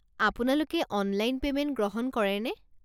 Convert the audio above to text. আপোনালোকে online payment গ্ৰহণ কৰেনে?